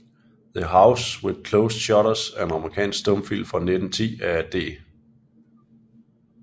The House with Closed Shutters er en amerikansk stumfilm fra 1910 af D